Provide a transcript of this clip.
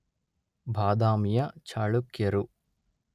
ಬಾದಾಮಿಯ ಚಾಳುಕ್ಯರು